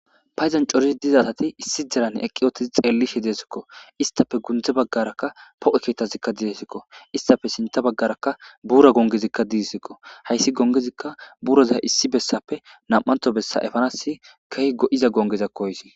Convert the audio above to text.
Payzan corizi diza asati issi derane eqqi ootizi xeellishe deesikko istafe gundze baggarakka po7o keettazikka didesikko istafe sinta baggarakka buura gongezikka didesikko hayssi gongezikka buroza issi bessape nam7anto bessa efanas kehigo7iza gongezakkoysi